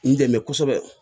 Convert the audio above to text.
N dɛmɛ kosɛbɛ